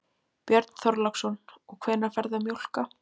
Björn Þorláksson: Og hvenær ferðu að mjólka?